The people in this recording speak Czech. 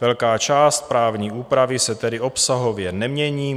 Velká část právní úpravy se tedy obsahově nemění.